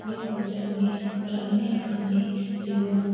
यह होटल में रहने खाने एवं --